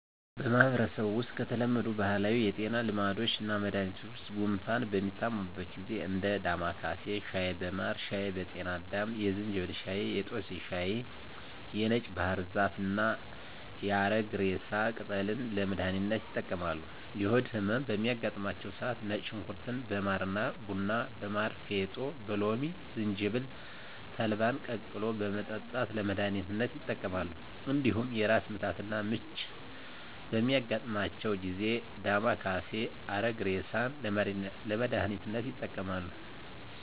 በማህበረሰቡ ውስጥ ከተለመዱ ባህላዊ የጤና ልምዶችና መድሀኒቶች ውስጥ ጉንፋን በሚታመሙበት ጊዜ እንደ ዳማካሴ ሻይ በማር ሻይ በጤና አዳም የዝንጅብል ሻይ የጦስኝ ሻይ የነጭ ባህር ዛፍና የአረግሬሳ ቅጠልን ለመድሀኒትነት ይጠቀማሉ። የሆድ ህመም በሚያጋጥማቸው ሰዓት ነጭ ሽንኩርት በማር ቡና በማር ፌጦ በሎሚ ዝንጅብል ተልባን ቀቅሎ በመጠጣት ለመድሀኒትነት ይጠቀማሉ። እንዲሁም የራስ ምታትና ምች በሚያጋጥማቸው ጊዜ ዳማካሴ አረግሬሳን ለመድሀኒትነት ይጠቀማሉ።